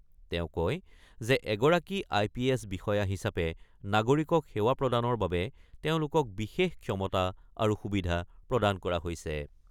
তেওঁ কয় যে এগৰাকী আই পি এছ বিষয়া হিচাপে নাগৰিকক সেৱা প্ৰদানৰ বাবে তেওঁলোকক বিশেষ ক্ষমতা আৰু সুবিধা প্ৰদান কৰা হৈছে।